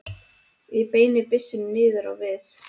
Ég beini byssunni niður á við.